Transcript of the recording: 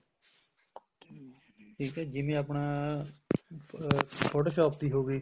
ਠੀਕ ਆ ਜਿਵੇਂ ਆਪਣਾ photoshop ਦੀ ਹੋਗੀ